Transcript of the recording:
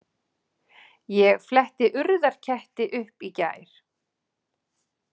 Ég fletti Urðarketti upp í gær.